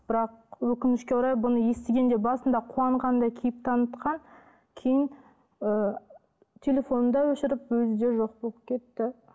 бірақ өкінішке орай бұны естігенде басында қуанғандай кейіп танытқан кейін ы телефонын да өшіріп өзі де жоқ болып кетті